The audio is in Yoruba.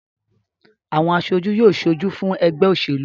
Àwọn aṣojú yóò ṣojú fún ẹgbẹ́ òṣèlú wa